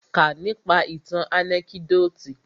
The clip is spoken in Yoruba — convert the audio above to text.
Kà nípa ìtàn ànẹ́kídòtì!